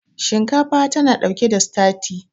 shinkafa tana ɗauke da stati